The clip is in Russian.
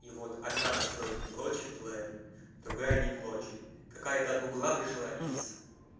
и вот одна настройка блочит плеер другая не блочит какая-то от гугла пришла из